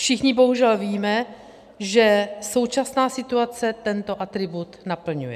Všichni bohužel víme, že současná situace tento atribut naplňuje.